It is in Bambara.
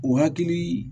O hakili